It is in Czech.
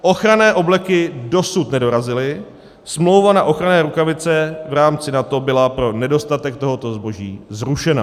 Ochranné obleky dosud nedorazily, smlouva na ochranné rukavice v rámci NATO byla pro nedostatek tohoto zboží zrušena.